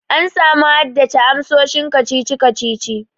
An samu haddace amsoshin kacici kacici.